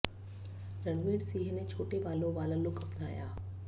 रणवीर सिंह ने छोटे बालों वाला लुक अपनाया